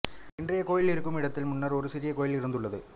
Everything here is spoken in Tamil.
இன்றைய கோயில் இருக்கும் இடத்தில் முன்னர் ஒரு சிறிய கோயில் இருந்துள்ளது